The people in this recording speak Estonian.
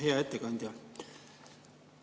Hea ettekandja!